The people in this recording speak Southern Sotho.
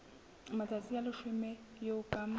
matsatsi a leshome eo ka